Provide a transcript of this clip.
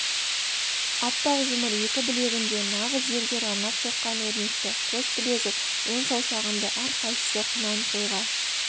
аппақ жұмыр екі білегінде нағыз зергер арнап соққан өрнекті қос білезік он саусағында әрқайсысы құнан қойға